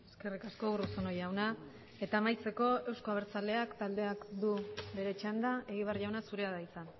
eskerrik asko urruzuno jauna eta amaitzeko euzko abertzaleak taldeak du bere txanda egibar jauna zurea da hitza